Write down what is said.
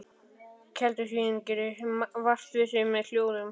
Keldusvín gerir vart við sig með hljóðum.